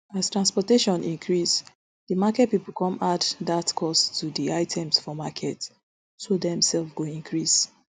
as transportation increase di market pipo come add dat cost to di items for market so dem sef go increase